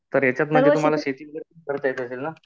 तर याच्यातन तुम्हाला शेती वैगेरे पण करता येत असेल ना ?